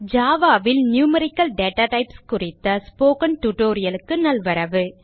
Java ல் numerical data types குறித்த spoken tutorial க்கு நல்வரவு